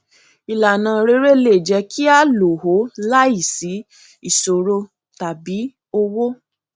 ìlànà rere le jẹ kí a lò ó láìsí ìṣòro tàbí owó